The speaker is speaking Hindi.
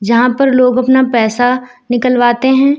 जहां पर लोग अपना पैसा निकलवाते हैं।